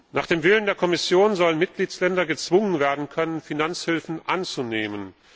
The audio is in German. Nach dem Willen der Kommission sollen Mitgliedstaaten gezwungen werden können, Finanzhilfen anzunehmen.